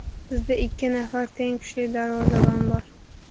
Bizda ikki nafar teng kuchli darvozabon bor.